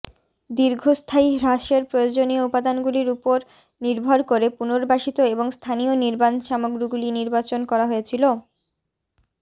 দীর্ঘস্থায়ী হ্রাসের প্রয়োজনীয় উপাদানগুলির উপর নির্ভর করে পুনর্বাসিত এবং স্থানীয় নির্মাণ সামগ্রীগুলি নির্বাচন করা হয়েছিল